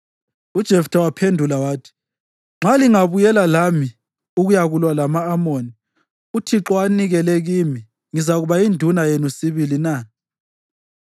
UJeftha waphendula wathi, “Nxa lingabuyela lami ukuyakulwa lama-Amoni uThixo awanikele kimi, ngizakuba yinduna yenu sibili na?”